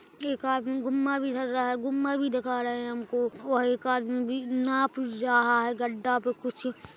एक आदमी गुम्मा भी धर रहा है गुम्मा भी दिखा रहे है हमको वह एक आदमी बी नाप रहा है गड्डा पे कुछ --